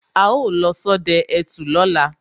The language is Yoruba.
Á ó lọ sodẹ ẹtù lóla